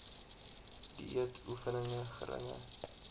dieet oefening geringe